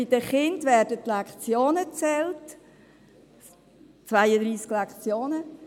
Bei den Kindern werden die Lektionen gezählt, 32 Lektionen;